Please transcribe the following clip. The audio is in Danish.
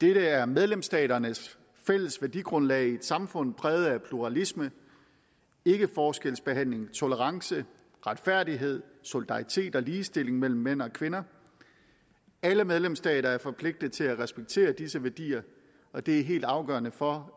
det er medlemsstaternes fælles værdigrundlag i et samfund præget af pluralisme ikkeforskelsbehandling tolerance retfærdighed solidaritet og ligestilling mellem mænd og kvinder alle medlemsstater er forpligtet til at respektere disse værdier og det er helt afgørende for